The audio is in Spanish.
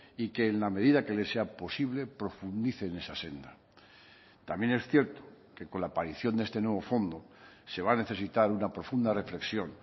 y que en la medida que le sea posible profundice en esa senda también es cierto que con la aparición de este nuevo fondo se va a necesitar una profunda reflexión